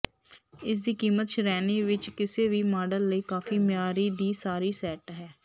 ਇਸ ਦੀ ਕੀਮਤ ਸ਼੍ਰੇਣੀ ਵਿੱਚ ਕਿਸੇ ਵੀ ਮਾਡਲ ਲਈ ਕਾਫ਼ੀ ਮਿਆਰੀ ਦੀ ਸਾਰੀ ਸੈੱਟ ਹੈ